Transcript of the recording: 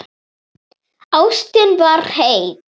Ástin var heit.